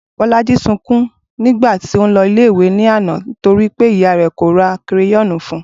Bolaji sunkún nígbà tí ó n lo ilé ìwé lánàá torí pé ìyá rè kò ra kereyóònù fun